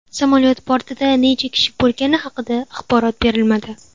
Samolyot bortida necha kishi bo‘lgani haqida axborot berilmadi.